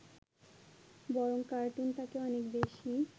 বরং কার্টুন তাকে অনেক বেশী